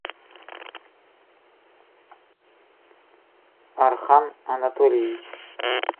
архан анатольевич